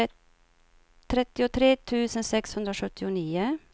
trettiotre tusen sexhundrasjuttionio